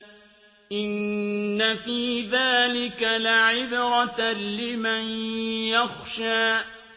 إِنَّ فِي ذَٰلِكَ لَعِبْرَةً لِّمَن يَخْشَىٰ